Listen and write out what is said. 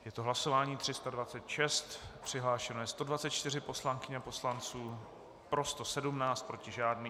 Je to hlasování 326, přihlášeno je 124 poslankyň a poslanců, pro 117, proti žádný.